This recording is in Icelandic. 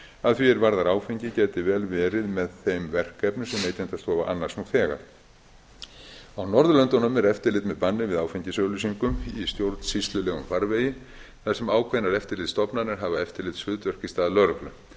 að því er varðar áfengi gæti vel verið með þeim verkefnum sem neytendastofa annast nú þegar á norðurlöndunum er eftirlit með banni við áfengisauglýsingum í stjórnsýslulegum farvegi þar sem ákveðnar eftirlitsstofnanir hafa eftirlitshlutverk í stað lögreglu er